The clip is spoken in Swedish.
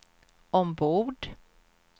ombord